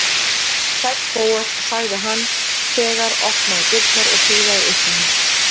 Sæll, Bóas- sagði hann þegar opnaði dyrnar og prílaði upp til hans.